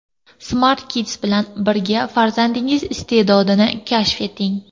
Smart Kids bilan birga farzandingiz iste’dodini kashf eting!.